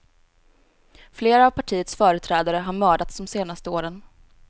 Flera av partiets företrädare har mördats de senaste åren.